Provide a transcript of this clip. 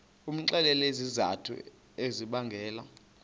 umxelele izizathu ezibangela